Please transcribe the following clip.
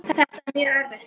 Þetta er mjög erfitt.